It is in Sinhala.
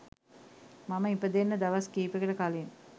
මම ඉපදෙන්න දවස් කීපෙකට කලින්.